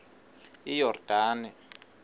iyordane